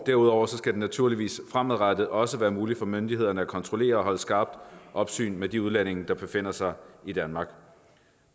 derudover skal det naturligvis fremadrettet også være muligt for myndighederne at kontrollere og holde skarpt opsyn med de udlændinge der befinder sig i danmark